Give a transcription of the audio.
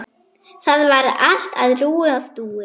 Þar var allt á rúi og stúi.